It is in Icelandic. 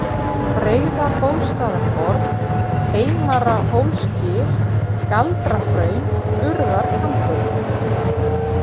Breiðabólstaðarborg, Heimara-Hólsgil, Galdrahraun, Urðarkambur